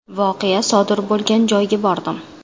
Voqea sodir bo‘lgan joyga bordim.